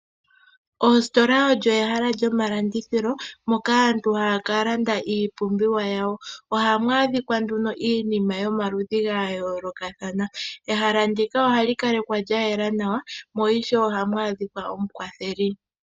Ositola oyo ehala lyomalandithilo moka aantu haya ka landa iipumbiwa yawo. Ohamu adhika nduno iinima yomaludhi gayoolokathana. Ehala ndika ohali kalekwa lya yela nawa, mo ishewe ohamu adhika omukwatheli.